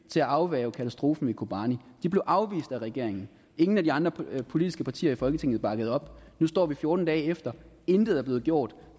til afværge katastrofen i kobani de blev afvist af regeringen og ingen af de andre politiske partier i folketinget bakkede op om nu står vi fjorten dage efter og intet er blevet gjort